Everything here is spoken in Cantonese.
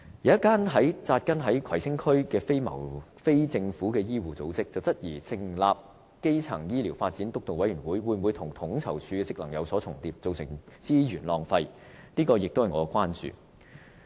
有一間扎根於葵青區的非政府醫護組織質疑，成立基層醫療發展督導委員會，會否跟統籌處的職能有所重疊，造成資源浪費，這也是我的關注。